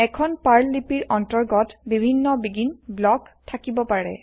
এখন পাৰ্ল লিপিৰ অন্তৰ্গত বিভিন্ন আৰম্ভণি ব্লক থাকিব পাৰে